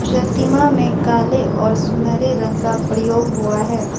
प्रतिमा में काले और सुनहरे रंग का प्रयोग हुआ है।